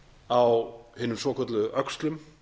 á hinum svokölluðu öxlum